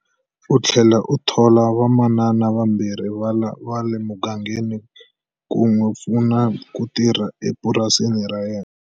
U tlhele a thola vamanana vambirhi va le mugangeni ku n'wi pfuna ku tirha epurasini ra yena.